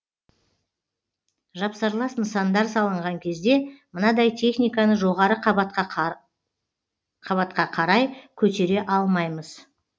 жапсарлас нысандар салынған кезде мынадай техниканы жоғары қабатқа қарай көтере алмаймыз